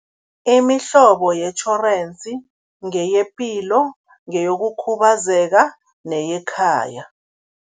Imihlobo yetjhorensi ngeyepilo, ngeyokukhubazeka neyekhaya.